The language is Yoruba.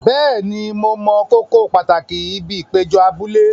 Bẹ́ẹ̀ni, mo mọ kókó pàtàkì ibi ìpéjọ abúlé.